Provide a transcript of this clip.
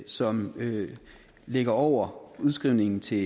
som ligger over udskrivningen til